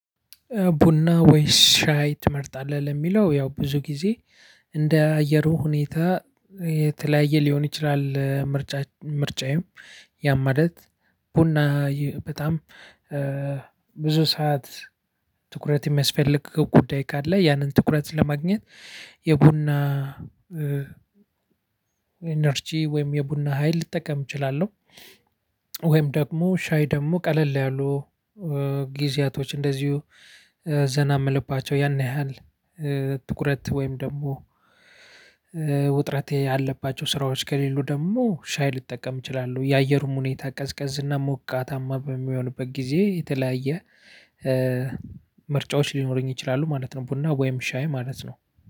ቡና ወይስ ሻይ ትመርጣለህ ለሚለው ያው ብዙ ጊዜ እንደ አየሩ ሁኔታ የተለያየ ሊሆን ይችላል ምርጫ ምርጫዬም ያም ማለት ቡና በጣም ብዙ ሰዓት ትኩረት የሚያስፈልግ ጉዳይ ካለ ያንን ትኩረት ለማግኘት የቡና ኢነርጂ ወይም የቡና ሀይል ልጠቀም እችላለሁ። ወይም ደግሞ ሻይ ደግሞ ቀለል ላይ ያሉ ጊዜያቶች እንደዚሁ ዘና የምልባቸው ያን ያህል ትኩረት ወይም ደግሞ ውጥረቴ ያለባቸው ስራዎች ከሌሉ ደግሞ ሻይ ልጠቀም እችላለሁ። የአየሩም ሁኔታ ቀዝቀዝና ሞቃታማ በሚሆንበት ጊዜ የተለያየ ምርጫዎች ሊኖረኝ ይችላሉ ማለት ነው። ቡና ወይም ሻይ ማለት ነው።